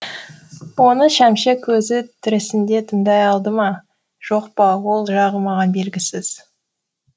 оны шәмші көзі тірісінде тыңдай алды ма жоқ па ол жағы маған белгісіз